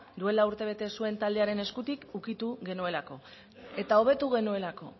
duela urtebete zuen taldearen eskutik ukitu genuelako eta hobetu genuelako